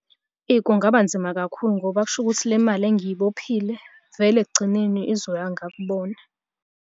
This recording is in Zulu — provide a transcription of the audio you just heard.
Eyi, kungaba nzima kakhulu ngoba kusho ukuthi le mali engiyibophile vele ekugcineni izoya ngakubona.